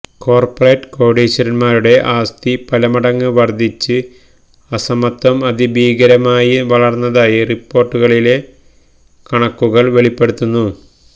corporate കോടീശ്വരന്മാരുടെ ആസ്തി പലമടങ്ങ് വർധിച്ച് അസമത്വം അതിഭീകരമായി വളർന്നതായി റിപ്പോർട്ടിലെ കണക്കുകൾ വെളിപ്പെടുത്തുന്നു